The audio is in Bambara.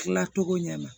Tilacogo ɲɛna